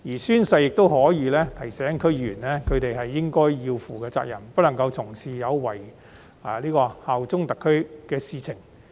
宣誓亦可以提醒區議員應該負起的責任，以及不能作出有違效忠特區的行為。